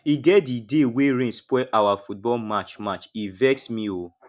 e get di day wey rain spoil our football match match e vex me o